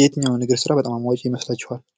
የትኛው ስራ በጣም አዋጭ ይመስላችኋል።